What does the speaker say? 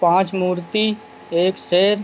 पांच मूर्ति एक शेर